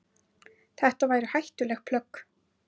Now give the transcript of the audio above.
Þetta væru hættuleg plögg.